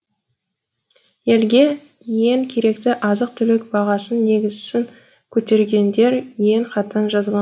елге ең керекті азық түлік бағасын негізсін көтергендер ең қатаң жазала